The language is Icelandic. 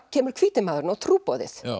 kemur hvíti maðurinn og trúboðið